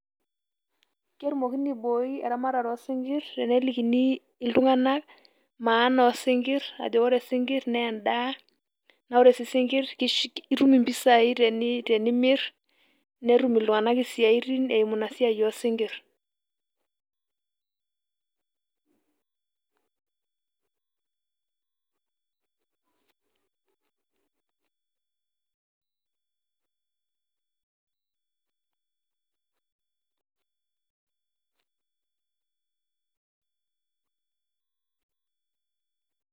Ketumokini aaiboi eramatare oosinkir tenelikini iltunganak maana oosinkir tenelikini ajo ore isinkir naa endaa naa ore sii isinkir itum impisai tenimir netum iltunganak isiatin eeemu ina siaai oosinkir.